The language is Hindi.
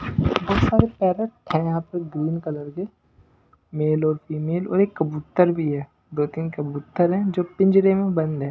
पैरट है यहां पर ग्रीन कलर के मेल और फीमेल और एक कबूतर भी है दो तीन कबूतर हैं जो पिंजरे में बंद है।